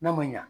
N'a ma ɲɛ